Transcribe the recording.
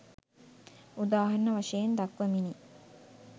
උදාහරණ වශයෙන් දක්වමිනි.